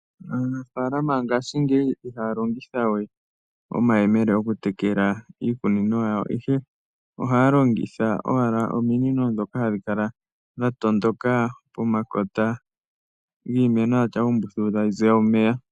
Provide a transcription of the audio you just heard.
Aanafaalama ngashingeyi ihaya longitha we omahemele oku tekela iikunino yawo, ihe ohaya longitha owala ominino dhoka hadhi kala dha tondoka pomakota giimeno yawo dhatya uumbululu tadhi ziya omeya.